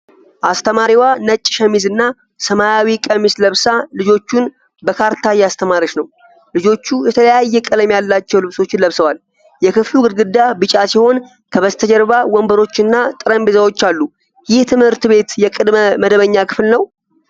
አስተማሪዋ ነጭ ሸሚዝ እና ሰማያዊ ቀሚስ ለብሳ ልጆቹን በ ካርታ እያስተማረች ነው። ልጆቹ የተለያየ ቀለም ያላቸው ልብሶችን ለብሰዋል። የክፍሉ ግድግዳ ቢጫ ሲሆን፣ ከበስተጀርባ ወንበሮችና ጠረጴዛዎች አሉ። ይህ ትምህርት ቤት የቅድመ መደበኛ ክፍል ነው?